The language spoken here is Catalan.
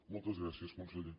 moltes gràcies conseller